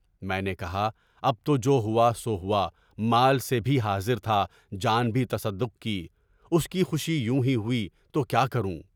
میں نے کہا، اب تو جو ہوا سو ہوا، مال سے بھی حاضر تھا، جان بھی تصدق کی، اس کی خوشی یوں ہی ہوئی تو کیا کروں؟